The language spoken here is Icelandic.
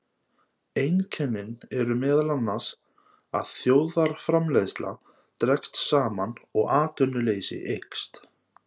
Einkennin eru meðal annars að þjóðarframleiðsla dregst saman og atvinnuleysi eykst.